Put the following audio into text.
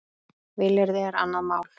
Vilyrði er annað mál.